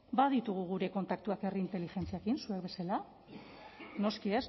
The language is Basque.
baditugu gure kontaktuak herri inteligentziarekin zuek bezala noski